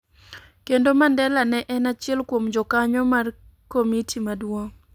kendo Mandela ne en achiel kuom jokanyo mar komiti maduong '.